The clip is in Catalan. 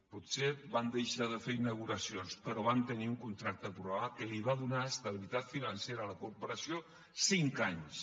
potser vam deixar de fer inauguracions però vam tenir un contracte programa que va donar estabilitat financera a la corporació cinc anys